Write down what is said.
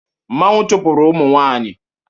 Mmanwu chụpụrụ ụmụ nwanyị